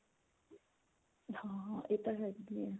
ਹਾਂ ਇਹ ਤਾਂ ਹੈ ਕੀ